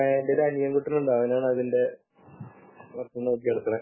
എന്റെ ഒരു അനിയൻകുട്ടൻ ഉണ്ട് അവനാണ് അതിന്റെ മൊത്തം നടത്തുന്നത് .